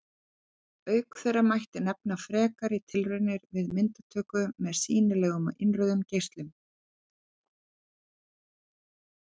Auk þeirra mætti nefna frekari tilraunir við myndatöku með sýnilegum og innrauðum geislum.